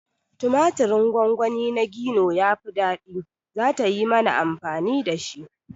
Tumaturin gongoni na Gino yafi ɗadi, zata yi mana amfani dashi